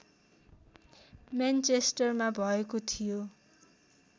मेनचेस्टरमा भएको थियो